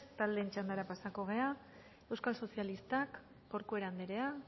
taldeen txandara pasatuko gara euskal sozialistak corcuera anderea